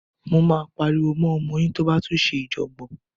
Máa pariwo mọ́ ọmọ yín tó bá tún ṣe ìjọ̀gbọ̀n.